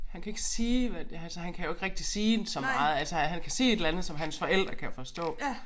Han kan ikke sige hvad det altså han kan jo ikke rigtig sige så meget altså han kan sige et eller andet som hans forældre kan forstå